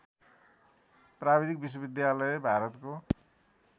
प्राविधिक विश्वविद्यालय भारतको